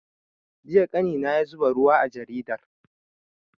Jiya ƙanina ya zuba ruwa a jaridar